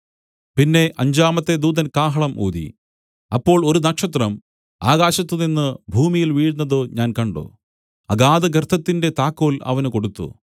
പിന്നെ അഞ്ചാമത്തെ ദൂതൻ കാഹളം ഊതി അപ്പോൾ ഒരു നക്ഷത്രം ആകാശത്തുനിന്ന് ഭൂമിയിൽ വീഴുന്നത് ഞാൻ കണ്ട് അഗാധഗർത്തത്തിന്റെ താക്കോൽ അവന് കൊടുത്തു